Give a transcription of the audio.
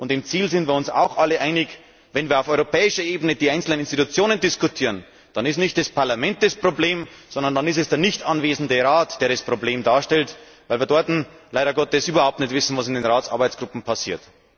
Im Ziel sind wir uns auch alle einig Wenn wir auf europäischer Ebene über die einzelnen Institutionen diskutieren, dann ist nicht das Parlament das Problem, sondern dann ist es der nicht anwesende Rat, der das Problem darstellt, weil wir leider Gottes überhaupt nicht wissen, was in den Arbeitsgruppen im Rat passiert.